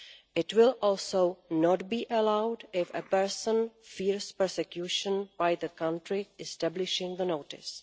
It will also not be allowed if a person fears persecution by the country establishing the notice.